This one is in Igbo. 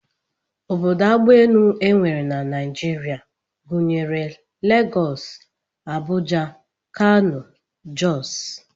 Obodo agbaelu e nwere na Naijiria gụnyere Legọs, Abuja, Kano, Jọs